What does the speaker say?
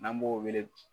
N'an b'o wele